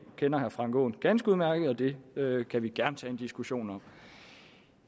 kender herre frank aaen ganske udmærket og det kan vi gerne tage en diskussion om